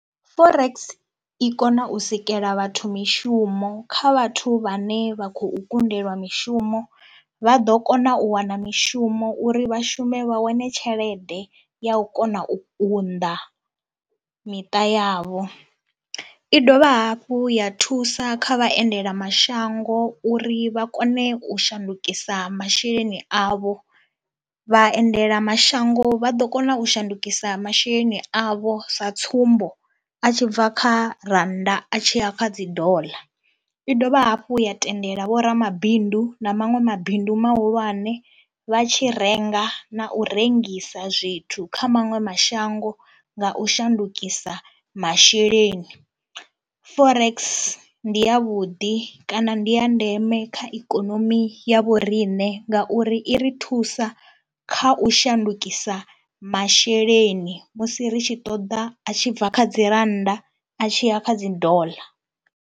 Forex i kona u sikela vhathu mishumo kha vhathu vhane vha khou kundelwa mishumo vha ḓo kona u wana mishumo uri vha shume vha wane tshelede ya u kona u kunda miṱa yavho. I dovha hafhu ya thusa kha vhaendelamashango uri vha kone u shandukisa masheleni avho, vhaendelamashango vha ḓo kona u shandukisa masheleni avho sa tsumbo a tshi bva kha rannda a tshi ya kha dzi doḽa. I dovha hafhu ya tendela vhoramabindu na maṅwe mabindu mahulwane vha tshi renga na u rengisa zwithu kha maṅwe mashango nga u shandukisa masheleni. Forex ndi yavhuḓi kana ndi ya ndeme kha ikonomi ya vhoriṋe ngauri i ri thusa kha u shandukisa masheleni musi ri tshi ṱoḓa a tshi bva kha dzi rannda a tshi ya kha dzi doḽa.